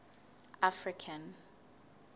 african